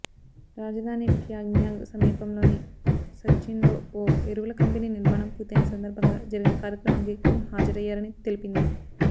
రాజధాని ప్యాంగ్యాంగ్ సమీపంలోని సన్చిన్లో ఓ ఎరువుల కంపెనీ నిర్మాణం పూర్తయిన సందర్భంగా జరిగిన కార్యక్రమానికి కిమ్ హాజరయ్యారని తెలిపింది